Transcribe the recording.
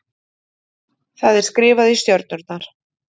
Það er skrifað í stjörnurnar.